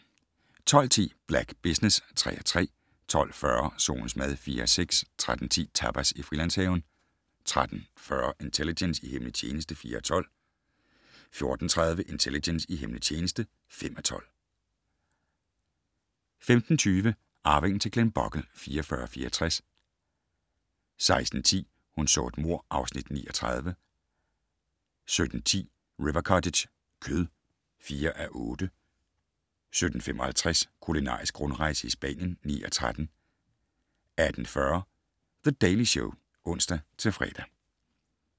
12:10: Black Business (3:3) 12:40: Solens mad (4:6) 13:10: Tapas i Frilandshaven 13:40: Intelligence - i hemmelig tjeneste (4:12) 14:30: Intelligence - i hemmelig tjeneste (5:12) 15:20: Arvingen til Glenbogle (44:64) 16:10: Hun så et mord (Afs. 39) 17:10: River Cottage - kød (4:8) 17:55: Kulinarisk rundrejse i Spanien (9:13) 18:40: The Daily Show (ons-fre)